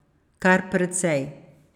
Kar precej.